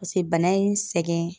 Paseke bana ye n sɛgɛn